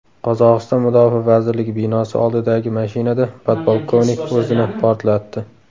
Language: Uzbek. Qozog‘iston Mudofaa vazirligi binosi oldidagi mashinada podpolkovnik o‘zini portlatdi.